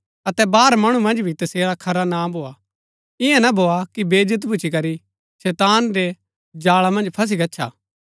अतै बाहर मणु मन्ज भी तसेरा खरा नां भोआ ईयां ना भोआ कि बेईज्‍जत भुच्‍ची करी शैतान रै जाळा मन्ज फसी गच्छा